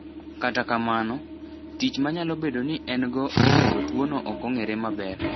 Kata kamano, tich ma nyalo bedo ni en-go e kelo tuwono ok ong’ere maber.